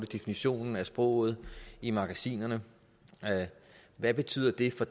definitionen af sproget i magasinerne hvad betyder det for